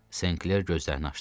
Senkler gözlərini açdı.